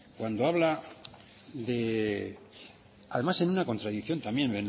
cuando habla de además en una comprensión también